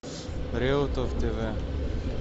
реутов тв